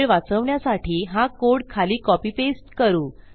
वेळ वाचवण्यासाठी हा कोड खाली कॉपी पेस्ट करू